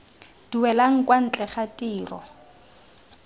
duelang kwa ntle ga tiro